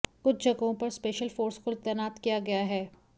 कुछ जगहों पर स्पेशल फोर्स को तैनात किया गया है